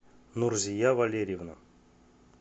нурзия валерьевна